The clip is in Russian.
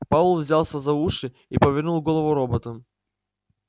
пауэлл взялся за уши и повернул голову робота